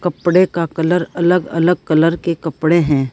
कपड़े का कलर अलग अलग कलर के कपड़े हैं।